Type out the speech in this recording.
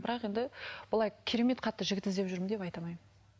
бірақ енді былай керемет қатты жігіт іздеп жүрмін деп айта алмаймын